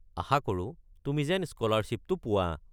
আশা কৰোঁ তুমি যেন স্ক’লাৰশ্বিপটো পোৱা।